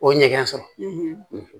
O ɲɛgɛn sɔrɔ